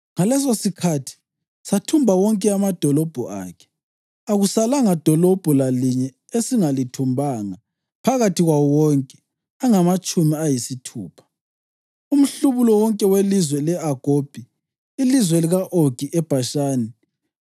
Ngalesosikhathi sathumba wonke amadolobho akhe. Akusalanga dolobho lalinye esingalithumbanga phakathi kwawo wonke angamatshumi ayisithupha, umhlubulo wonke welizwe le-Agobhi, ilizwe lika-Ogi eBhashani.